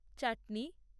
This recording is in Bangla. চাটনি